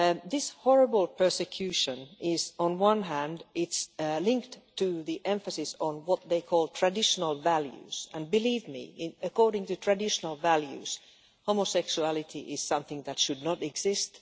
This horrible persecution is, on one hand, linked to the emphasis on what they call traditional values and believe me, according to traditional values, homosexuality is something that should not exist.